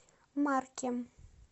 маркем